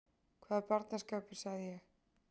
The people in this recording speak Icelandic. Hvaða barnaskapur sagði ég.